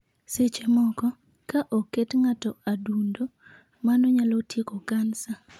Seche moko, ka oket ng'ato adundo, mano nyalo tieko kansa.